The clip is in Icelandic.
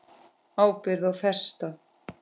Ábyrgð og festa